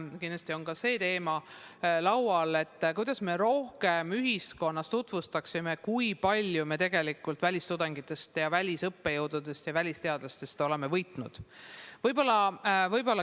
Kindlasti on laual ka see teema, kuidas me saaksime ühiskonnas rohkem tutvustada seda, kui palju me tegelikult välistudengitest, välisõppejõududest ja välisteadlastest oleme võitnud.